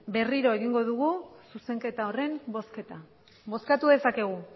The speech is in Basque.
berriro egingo dugu zuzenketa horren bozketa bozkatu dezakegu